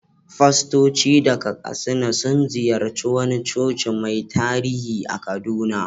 Fastoci daga Katsina sun ziyarci wani coci mai tarihi a Kaduna.